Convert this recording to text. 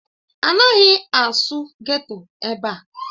Anaghị asụ geto ebe a!